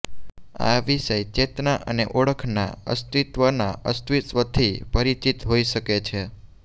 આ વિષય ચેતના અને ઓળખના અસ્તિત્વના અસ્તિત્વથી પરિચિત હોઈ શકે છે